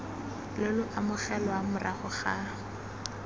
lo lo amogelwang morago ga